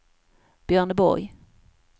Björneborg